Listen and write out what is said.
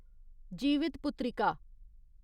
Jivitputrika